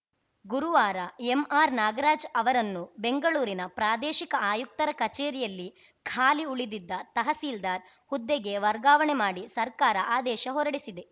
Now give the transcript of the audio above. ಗುರುವಾರ ಎಂಆರ್‌ ನಾಗರಾಜ್‌ ಅವರನ್ನು ಬೆಂಗಳೂರಿನ ಪ್ರಾದೇಶಿಕ ಆಯುಕ್ತರ ಕಚೇರಿಯಲ್ಲಿ ಖಾಲಿ ಉಳಿದಿದ್ದ ತಹಸೀಲ್ದಾರ್‌ ಹುದ್ದೆಗೆ ವರ್ಗಾವಣೆ ಮಾಡಿ ಸರ್ಕಾರ ಆದೇಶ ಹೊರಡಿಸಿದೆ